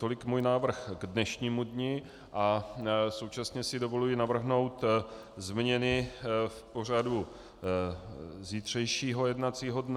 Tolik můj návrh k dnešnímu dni a současně si dovoluji navrhnout změny v pořadu zítřejšího jednacího dne.